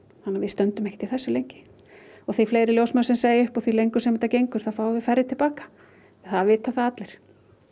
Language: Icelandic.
þannig að við stöndum ekkert í þessu lengi og því fleiri ljósmæður sem segja upp og því lengur sem þetta gengur þá fáum við færri til baka það vita það allir